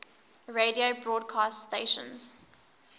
radio broadcast stations